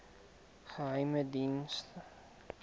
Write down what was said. geheimediens